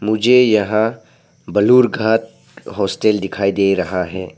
मुझे यहां बालूरघाट हॉस्टल दिखाई दे रहा है।